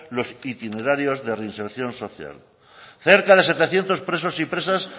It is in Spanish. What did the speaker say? los itinerarios de reinserción social cerca de setecientos presos y presas